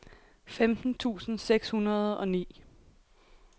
femten tusind seks hundrede og ni